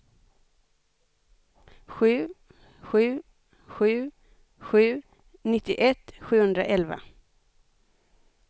sju sju sju sju nittioett sjuhundraelva